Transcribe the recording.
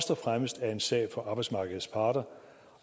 fremmest er en sag for arbejdsmarkedets parter